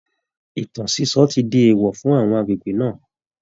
Ìtàn sísọ ti di èèwọ̀ fún àwọn agbègbè náà